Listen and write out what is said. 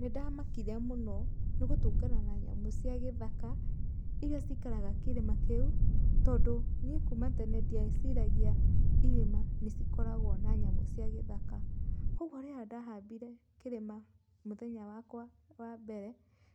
Nĩndamakire mũno, nĩ gũtũngana na nyamũ cia gĩthaka, ĩrĩa cikaraga kĩrĩma kĩu, tondũ niĩ kuuma tene ndieciragia irĩma nĩcikoragwo na nyamũ cia gĩthaka. Kwogwo rĩrĩa ndahambire kĩrĩma mũthenya wakwa wa mbere,